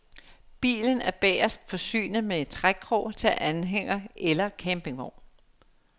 Bilen er bagest forsynet med trækkrog til anhænger eller campingvogn.